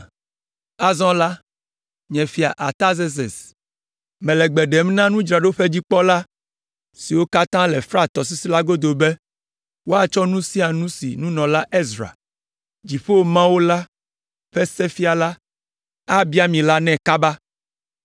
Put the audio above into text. Azɔ la, nye Fia Artazerses, mele gbe ɖem na nudzraɖoƒedzikpɔla siwo katã le Frat tɔsisi la godo be, woatsɔ nu sia nu si nunɔla Ezra, Dziƒo Mawu la ƒe Sefiala, abia mi la nɛ kaba